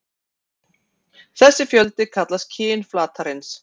Þessi fjöldi kallast kyn flatarins.